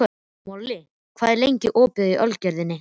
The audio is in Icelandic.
Moli, hvað er lengi opið í Ölgerðinni?